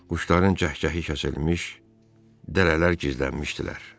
Quşların cəh-cəhi kəsilmiş, dərələr gizlənmişdilər.